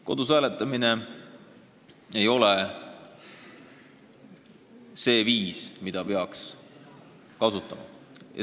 Kodus hääletamine ei ole see viis, mida peaks kasutama.